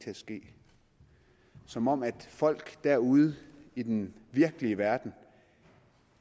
til at ske som om at folk derude i den virkelige verden